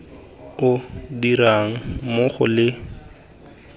o dirang mmogo le letlha